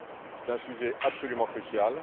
ce débat. C'est un sujet absolument